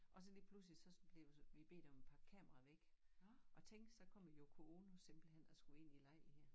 Og så lige pludselig så bliver så vi bedt om at pakke kameraet væk og tænk så kommer Yoko Ono simpelthenhen og skulle ind i lejligheden